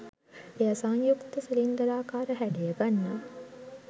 එය සංයුක්ත සිලින්ඩරාකාර හැඩය ගන්නා